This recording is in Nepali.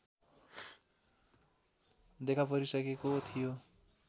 देखापरिसकेको थियो